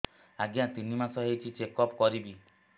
ଆଜ୍ଞା ତିନି ମାସ ହେଇଛି ଚେକ ଅପ କରିବି